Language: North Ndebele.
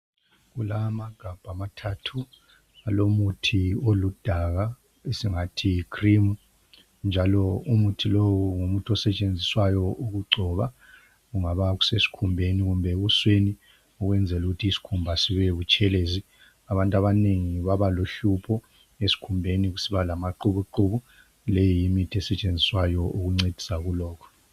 Kulamagabha amathathu alomuthi oludaka esingathi yi(cream)njalo umuthi lowu ngumuthi osetshenziswayo ukugcoba kungaba kusesikhumbeni kumbe ebusweni ukwenzela ukuthi isikhumba sibebutshelezi. Abantu abanengi babalohlupho esikhumbeni kusiba lamaqhubuqhubu le yiyo imithi esetshenziswayo ukuncedisa kulokhu.